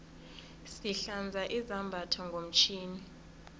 sihlanza izambatho ngomtjhini